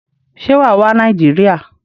Se wàá wá Nàìjíríà?